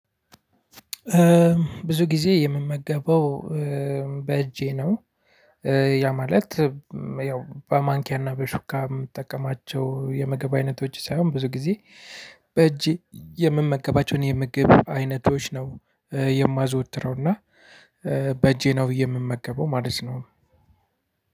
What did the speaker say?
ብዙ ጊዜ የምመገበው በእጄ ነው። ያ ማለት ያው በማንኪያና በሹካ የምጠቀማቸው የምግብ አይነቶች ሳይሆን ብዙ ጊዜ በእጄ የምመገባቸውን የምግብ አይነቶች ነው የማዘወትረው እና በእጄ ነው ብዬ የምመገበው ማለት ነው።